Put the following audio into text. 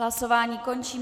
Hlasování končím.